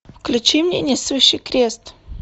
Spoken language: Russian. включи мне несущий крест